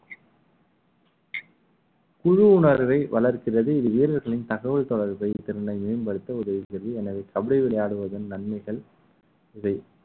குழு உணர்வை வளர்க்கிறது இது வீரர்களின் தகவல் தொடர்பு வைத்திருந்த மேம்படுத்த உதவுகிறத எனவே கபடி விளையாடுவதன் நன்மைகள் இதை